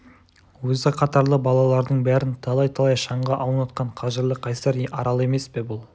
өзі қатарлы балалардың бәрін талай-талай шаңға аунатқан қажырлы қайсар арал емес пе бұл